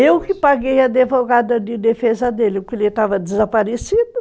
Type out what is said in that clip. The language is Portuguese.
Eu que paguei a advogada de defesa dele, porque ele estava desaparecido.